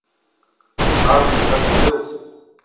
ад раскрылся